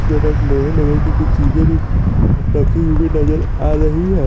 इश्के बस लोहे लोहे की कुछ चीजे भी रखी हुई नजर आ रही है।